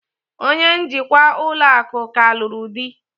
Onye njikwa ụlọ akụ ka lụrụ di